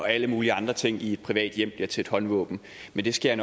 alle mulige andre ting i et privat hjem til et håndvåben men det skal